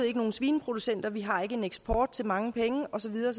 ikke nogen svineproducenter vi har ikke en eksport til mange penge og så videre